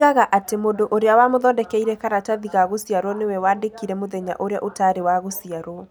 Oigaga atĩ mũndũ ũrĩa wamũthondekeire karatathi ka gũciarũo nĩwe waandĩke mũthenya ũrĩa ũtaarĩ wa gũciarũo.